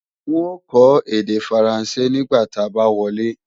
N ó kọ́ èdè Faransé nígbà ta bá wọlé